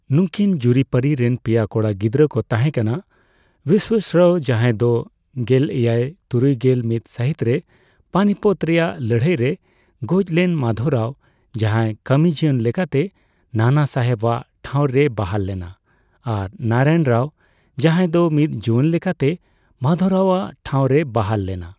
ᱱᱩᱠᱤ ᱡᱩᱨᱤᱯᱟᱹᱨᱤ ᱨᱮᱱ ᱯᱮᱭᱟ ᱠᱚᱲᱟ ᱜᱤᱽᱨᱟᱹ ᱠᱚ ᱛᱟᱦᱮᱸ ᱠᱟᱱᱟ, ᱵᱤᱥᱣᱟᱥᱨᱟᱣ, ᱡᱟᱦᱟᱸᱭ ᱫᱚ ᱜᱮᱞᱮᱭᱟᱭ ᱛᱩᱨᱩᱭᱜᱮᱞ ᱢᱤᱛ ᱥᱟᱹᱦᱤᱛ ᱨᱮ ᱯᱟᱱᱤᱯᱚᱛ ᱨᱮᱭᱟᱜ ᱞᱟᱹᱲᱦᱟᱹᱭ ᱨᱮ ᱜᱚᱡ ᱞᱮᱱ, ᱢᱟᱜᱷᱚᱣᱨᱟᱣ, ᱡᱟᱦᱟᱸ ᱠᱟᱹᱢᱤᱡᱤᱭᱚᱱ ᱞᱮᱠᱟᱛᱮ ᱱᱟᱱᱟᱥᱟᱦᱮᱵ ᱣᱟᱜ ᱴᱷᱟᱣ ᱨᱮᱭ ᱵᱟᱦᱟᱞ ᱞᱮᱱᱟ, ᱟᱨ ᱱᱟᱨᱟᱭᱚᱱ ᱨᱟᱣ, ᱡᱟᱦᱟᱸᱭ ᱫᱚ ᱢᱤᱫ ᱡᱩᱣᱟᱹᱱ ᱞᱮᱠᱟᱛᱮ ᱢᱟᱫᱷᱚᱣᱨᱟᱣ ᱣᱟᱜ ᱴᱷᱟᱣ ᱨᱮᱭ ᱵᱟᱦᱟᱞ ᱞᱮᱱᱟ᱾